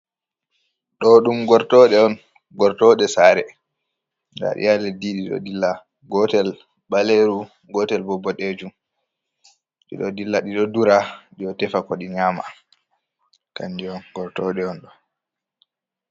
Ɗo ɗum gortoɗe on gortoɗe sare, ndaɗi ha leddi ɗiɗo dilla gotel ɓaleru, gotel bo ɓodejum ɗiɗo ɗila ɗiɗo dura ɗiɗo tefa ko ɗi nyama kanjiy on gortoɗe on ɗo.